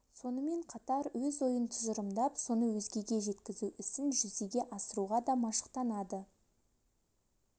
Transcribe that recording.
сонымен қатар өз ойын тұжырымдап соны өзгеге жеткізу ісін жүзеге асыруға да машықтанады